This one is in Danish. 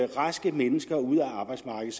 raske mennesker ud af arbejdsmarkedet